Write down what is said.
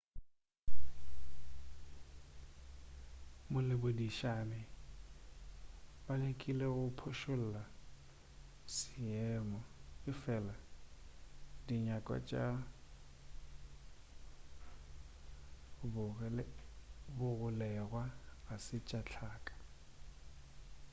baboledišane ba lekile go phošolla seemo efela dinyakwa tša bagolegwa ga se tša hlaka